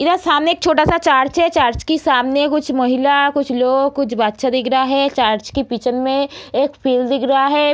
इधर सामने एक छोटा सा चर्च है चर्च के सामने कुछ महिला कुछ लोग कुछ बच्चा दिख रहा है चर्च के पीछे में एक फील्ड दिख रहा है।